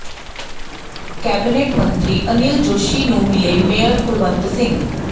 cabinet ਮੰਤਰੀ ਅਨਿਲ ਜੋਸ਼ੀ ਨੂੰ ਮਿਲੇ ਮੇਅਰ ਕੁਲਵੰਤ ਸਿੰਘ